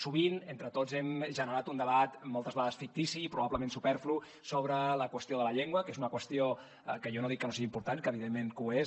sovint entre tots hem generat un debat moltes vegades fictici i probablement superflu sobre la qüestió de la llengua que és una qüestió que jo no dic que no sigui important que evidentment ho és